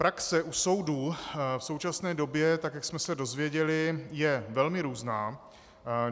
Praxe u soudů v současné době, tak jak jsme se dozvěděli, je velmi různá.